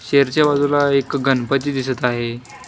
शेरच्या बाजूला एक गणपती दिसत आहे.